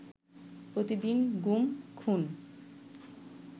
প্রতিদিন গুম, খুন